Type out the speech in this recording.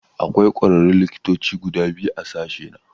Akwai kwararrun likitoci guda biyu a sashena.